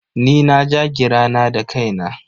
Ni na ja gira na da kaina.